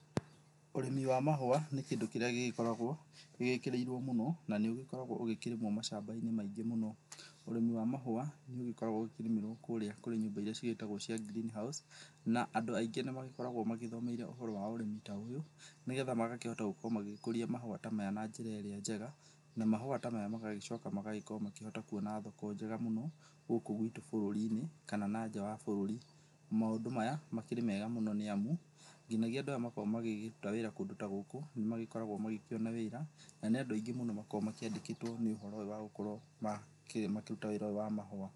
Ũrĩmi wa mahũa nĩ kĩndũ kĩrĩa gĩgĩkoragwo, gĩgĩkĩrĩirwo mũno, na nĩ ũgĩkoragwo ũkĩrĩmwo macambainĩ maingĩ mũno. Ũrĩmi wa mahũa nĩ ũgĩkoragwo ũgĩkĩrĩmĩrwo kũrĩa kũrĩ nyũmba iria cigĩtagwo cia green house, na andũ aingĩ nĩ magĩkoragwo magĩthomeire ũhoro wa ũrĩmi ta ũyũ, nĩgetha magakĩhota gũgĩkorwo magĩkũria mahũa ta maya na njĩra ĩrĩa njega, na mahũa ta maya magagĩcoka magagĩkrwo makĩhota kuona thoko njega mũno, gũkũ gwitũ bũrũri-inĩ, kana na nja wa bũrũri. Maũndũ maya makĩrĩ mega nĩ amu, nginagia andũ aya makoragwo magĩkĩruta wĩra kũndũ ta gũkũ, nĩ magĩkoragwo magĩkĩona wĩra, na nĩ andũ aingĩ mũno makoragwo makĩandĩkĩtwo nĩ ũhoro ũyũ wa gũkorwo, wa gũkorwo makĩruta wĩra ũyũ wa mahũa.